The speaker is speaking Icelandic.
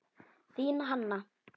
Þín Hanna.